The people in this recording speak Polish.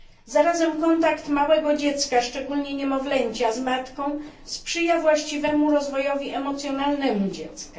Zarazem kontakt małego dziecka, szczególnie niemowlęcia, z matką sprzyja właściwemu rozwojowi emocjonalnemu dziecka.